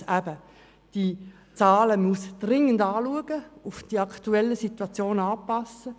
Erstens muss man die Zahlen dringend überprüfen und an die aktuelle Situation anpassen.